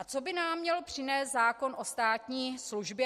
A co by nám měl přinést zákon o státní službě?